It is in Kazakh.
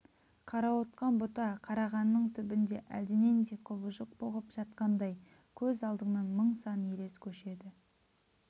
қарауытқан бұта-қарағанның түбінде әлденендей құбыжық бұғып жатқандай көз алдыңнан мың сан елес көшеді